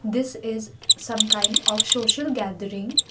this is some kind of social gathering.